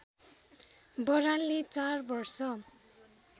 बरालले चार वर्ष